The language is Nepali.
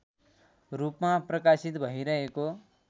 रूपमा प्रकाशित भइरहेको